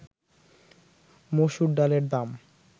মসুর ডালের দাম